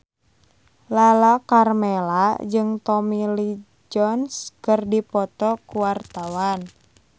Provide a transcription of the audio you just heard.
Lala Karmela jeung Tommy Lee Jones keur dipoto ku wartawan